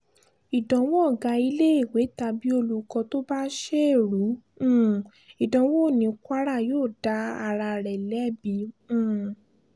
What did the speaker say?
ìdánwò ọ̀gá iléèwé tàbí olùkọ́ tó bá ṣe ẹrù um ìdánwò ní kwara yóò dá ara rẹ̀ lẹ́bi um